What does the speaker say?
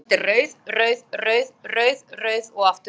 Ný öld er rauð, rauð, rauð, rauð, rauð og aftur rauð?